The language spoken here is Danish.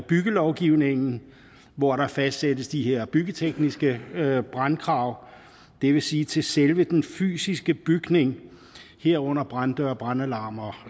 byggelovgivningen hvor der fastsættes de her byggetekniske brandkrav det vil sige til selve den fysiske bygning herunder branddøre brandalarmer